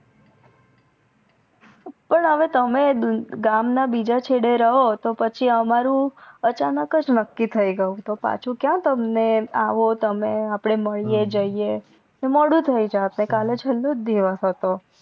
પણ અવે તમે ગામ ના બીજા છેડે રહો તો પછી અમારું અચાનકજ નક્કી થઈ ગયું તો પાછું ક્યાં તમને આવો તમે અપડે માડીએ જઇયે મોડુ થઈ જાત ને કાલે છેલ્લો દિવસ હતો